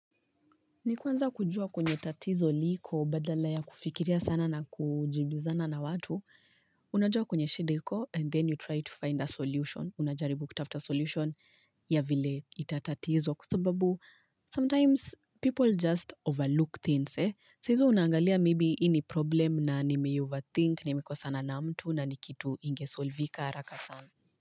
Nikuanza kujua kwenye tatizo liko badala ya kufikiria sana na kujibizana na watu, unajua kwenye shida iko and then you try to find a solution. Unajaribu kutafuta solution ya vile itatatizwa kwa sababu sometimes people just overlook things. Saa hizo unangalia maybe hii ni problem na nimeioverthink, nimekosana na mtu na ni kitu ingesolvika haraka sana.